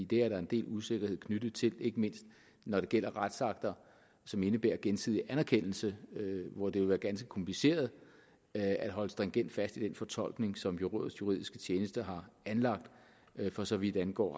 det er der en del usikkerhed knyttet til ikke mindst når det gælder retsakter som indebærer gensidig anerkendelse hvor det jo er ganske kompliceret at holde stringent fast i den fortolkning som rådets juridiske tjeneste har anlagt for så vidt angår